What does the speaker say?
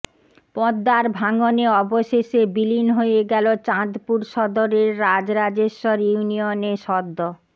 পদ্মার ভাঙনে অবশেষে বিলীন হয়ে গেল চাঁদপুর সদরের রাজরাজেশ্বর ইউনিয়নে সদ্য